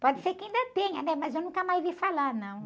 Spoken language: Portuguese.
Pode ser que ainda tenha, né? Mas eu nunca mais vi falar, não.